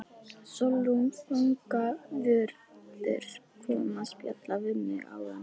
Sólrún fangavörður kom að spjalla við mig áðan.